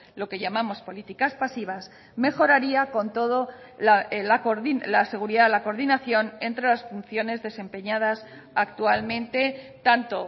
lo que llamamos políticas pasivas mejoraría con todo la seguridad la coordinación entre las funciones desempeñadas actualmente tanto